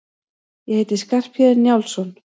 Ég heiti Skarphéðinn Njálsson!